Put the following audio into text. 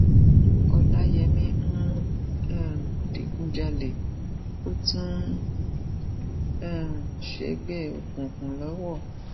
ọlàyémi ń um digunjalè ó tún ń um ṣègbè òkùkùn lọwọ